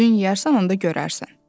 Özün yeyərsən onda görərsən.